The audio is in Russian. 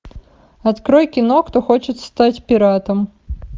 открой кино кто хочет стать пиратом